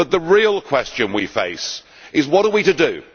But the real question we face is what are we to do?